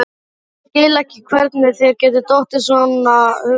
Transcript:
Ég skil ekki hvernig þér getur dottið svonalagað í hug!